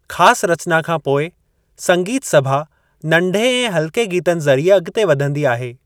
ख़ासि रचना खां पोइ, संगीत सभा नंढे ऐं हल्‍के गीतनि ज़रिए अगि॒ते वधंदी आहे।